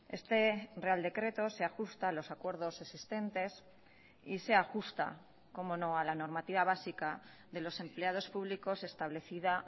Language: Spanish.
este real decreto se ajusta a los acuerdos existentes y se ajusta cómo no a la normativa básica de los empleados públicos establecida